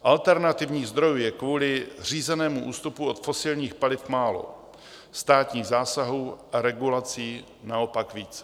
Alternativních zdrojů je kvůli řízenému ústupu od fosilních paliv málo, státních zásahů a regulací naopak více.